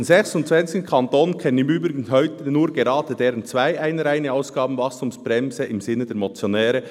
Von den 26 Kantonen kennen im Übrigen heute nur gerade deren zwei eine reine Ausgabenwachstumsbremse im Sinne der Motionäre.